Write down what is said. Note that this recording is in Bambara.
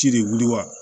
Ci de wuli wa